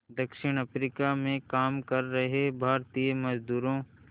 दक्षिण अफ्रीका में काम कर रहे भारतीय मज़दूरों